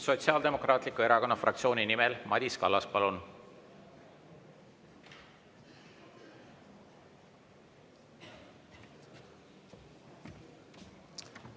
Sotsiaaldemokraatliku Erakonna fraktsiooni nimel Madis Kallas, palun!